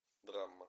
драма